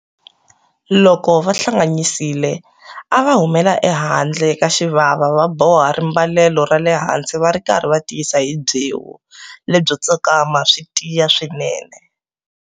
Loko va hlanganyisile a va humela ehandle ka xivava va boha rimbalelo ra le hansi va ri karhi va tiyisa hi byewu lebyo tsakama swi tiya swinene.